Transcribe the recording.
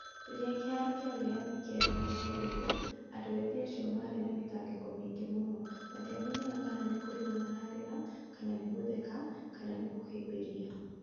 Rĩrĩa kĩharo kĩa wĩyathi kĩarĩ na mbugĩrĩrio, andũ ethĩ acio maarĩ na mĩtangĩko mĩingĩ mũno, matiamenyaga kana nĩ kũrĩra maraarĩra, kana nĩ gũtheka, kana nĩ kũhĩmbĩria''.